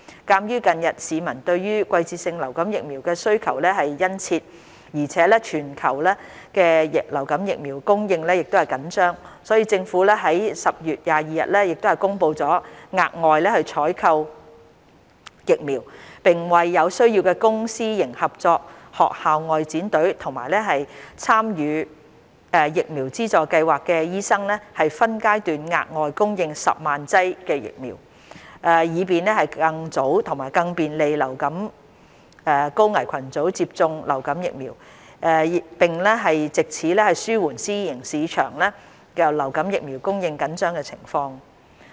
鑒於近日市民對季節性流感疫苗需求殷切，而全球流感疫苗供應緊張，所以，政府已於10月22日公布會額外採購疫苗，並為有需要的公私營合作學校外展隊及參與疫苗資助計劃的醫生分階段額外供應10萬劑疫苗，以便更早及更便利流感高危群組接種流感疫苗，並藉此紓緩私人醫療市場流感疫苗供應緊張的情況。